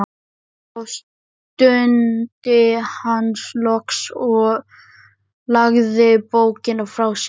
Já, stundi hann loks og lagði bókina frá sér.